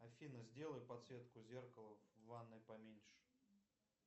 афина сделай подсветку зеркала в ванной поменьше